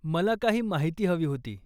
मला काही माहिती हवी होती.